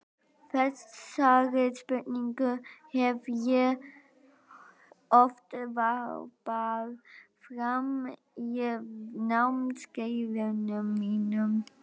Þessari spurningu hef ég oft varpað fram á námskeiðunum mínum.